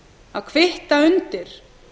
að kvitta undir